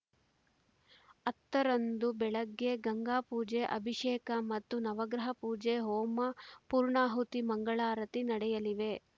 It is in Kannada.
ಹತ್ತರಂದು ಬೆಳಗ್ಗೆ ಗಂಗಾಪೂಜೆ ಅಭಿಷೇಕ ಮತ್ತು ನವಗ್ರಹ ಪೂಜೆ ಹೋಮ ಪೂರ್ಣಾಹುತಿ ಮಂಗಳಾರತಿ ನಡೆಯಲಿವೆ